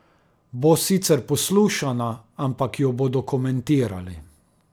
Bo sicer poslušana, ampak jo bodo komentirali.